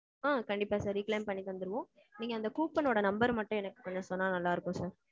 ஆ. கண்டிப்பா sir. Re-claim பண்ணி தந்துருவோம். நீங்க அந்த coupon ஓட number ர மட்டும் எனக்கு கொஞ்சம் சொன்னா நல்லா இருக்கும் sir.